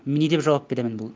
м не деп жауап беремін бұл